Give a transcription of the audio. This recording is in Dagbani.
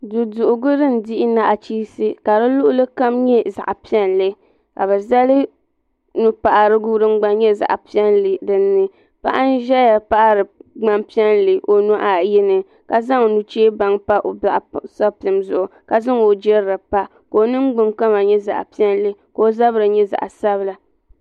Duduhirigu din dihi nachinsi ka luɣili kam nyɛ zaɣa piɛlli ka bɛ zali nupaɣatigu din nyɛ zaɣa piɛlli paɣa n ʒɛya paɣari ŋma'piɛlli o nuhi ayi ka zaŋ nuchebaŋa m pa o boɣusapim zuɣu ka zaŋ o jirili pa ka zabri nyɛ zaɣa sabila.